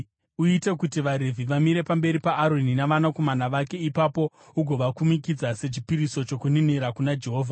Uite kuti vaRevhi vamire pamberi paAroni navanakomana vake ipapo ugovakumikidza sechipiriso chokuninira kuna Jehovha.